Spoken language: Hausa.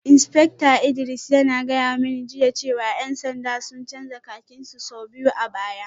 Insfekta Idris yana gaya mani jiya cewa ‘yan sanda sun canza kakin su sau biyu a baya